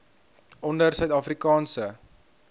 onder suid afrikaanse